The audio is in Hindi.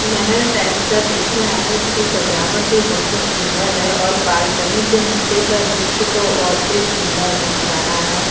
महल टाइप का दिख रहा है। इसकी सजावट भी बहोत सुन्दर है और बालकनी से नीचे का दृश्य हो तो और भी सुंदर दिख रहा है।